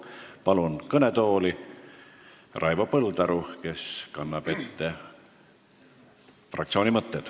Palun kõnetooli Raivo Põldaru, kes kannab ette fraktsiooni mõtted.